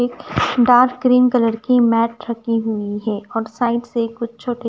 dark cream colour की mat रखी हुई है और साइड से कुछ छो--